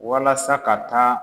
Walasa ka taa